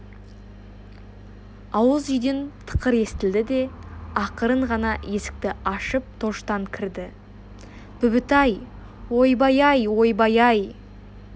ауыз үйден тықыр естілді де ақырын ғана есікті ашып тоштан кірді бүбітай ойбай-ай ойбай-ай